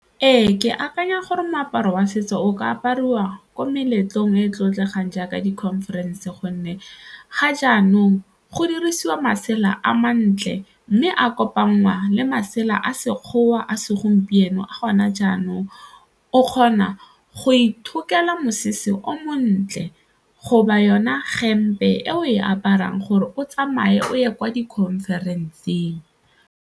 Ee, ke akanya gore moaparo wa setso o ka apariwa ko meletlong e e tlotlegang jaaka di-conference gonne ga jaanong go dirisiwa masela a mantle mme a kopangwa le masela a Sekgowa, a segompieno a gone jaanong, o kgona go ithutela mosese o montle go ba yona hempe e o e aparang gore o tsamaye o ye kwa di-conference-eng.